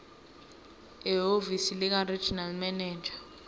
ehhovisi likaregional manager